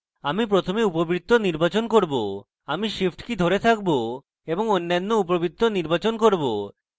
আমি প্রথমে উপবৃত্ত নির্বাচন করব তারপর আমি shift key ধরে থাকবো এবং অন্যান্য উপবৃত্ত নির্বাচন করব